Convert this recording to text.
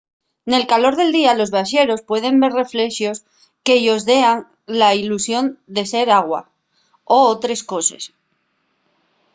nel calor del día los viaxeros pueden ver reflexos que-yos dean la ilusión de ser agua o otres coses